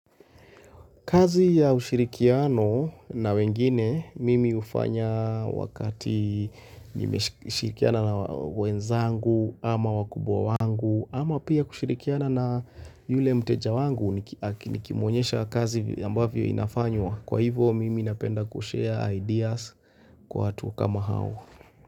Kazi ya ushirikiano na wengine mimi hufanya wakati nimeshirikiana na wenzangu ama wakubwa wangu ama pia kushirikiana na yule mteja wangu nikimwonyesha kazi ambavyo inafanywa. Kwa hivyo mimi napenda ku-share ideas kwa hatu kama hao.